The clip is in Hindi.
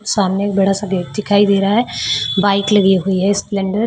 सामने एक बड़ा सा गेट दिखाई दे रहा है बाइक लगी हुई है स्प्लेंडर ।